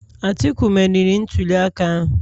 Atiku meriri ntuliaka ahụ